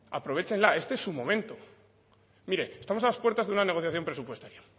aprovéchenla este es su momento mire estamos a las puertas de una negociación presupuestaria